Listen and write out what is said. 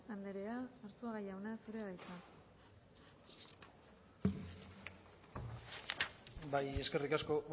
andrea arzuaga jauna zurea da hitza bai eskerrik asko